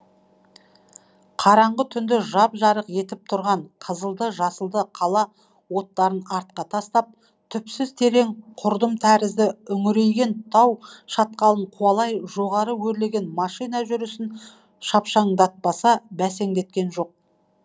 қараңғы түнді жап жарық етіп тұрған қызылды жасылды қала оттарын артқа тастап түпсіз терең құрдым тәрізді үңірейген тау шатқалын қуалай жоғары өрлеген машина жүрісін шапшаңдатпаса бәсеңдеткен жоқ